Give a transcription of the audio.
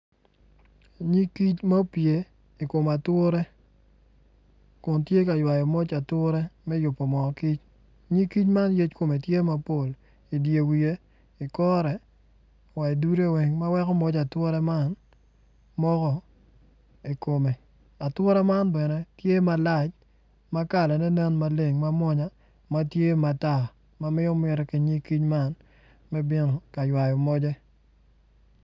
Nyig kic ma opye ikom ature kun tye ka cwayo moj ature me me yubo moo kic nyig kic ma yec kome tye mapol idye wiye ikore wa idude weng ma weko moja ature man moko ikome ature man bene tye malac ma kalane nen maleng ma mwonya matye matar ma miyo miti ki nyig kic man me bino ka ywayo moje